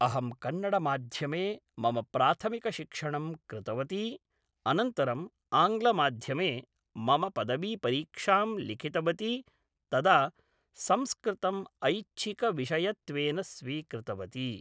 अहं कन्नडमाध्यमे मम प्राथमिकशिक्षणं कृतवती अनन्तरम् आङ्ग्लमाध्यमे मम पदवीपरीक्षां लिखितवती तदा संस्कृतम् ऐच्छिकविषयकत्वेन स्वीकृतवती